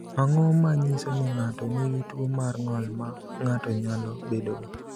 Ang’o ma nyiso ni ng’ato nigi tuwo mar ng’ol ma ng’ato nyalo bedogo?